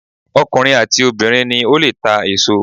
Ọkùnrin àti obìnrin ni ó lè ta èso.